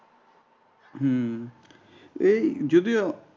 হম এই যদিও